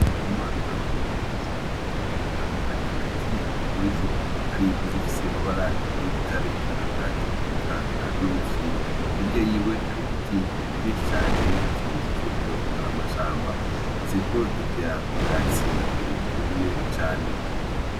Ndikumana n'umworozi w'inka, ari hagati muri zo, hari izifise amabara y'igitare, akagaju, eka n'umufyiri, hirya yiwe hari ibiti vyinshi cane nkikimenyetso cuko ari amashamba, ziriko zirya ubwatsi bwumye cane.